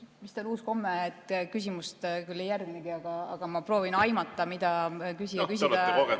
Vist on uus komme, et küsimust küll ei järgnegi, aga ma proovin aimata, mida küsija küsida soovis.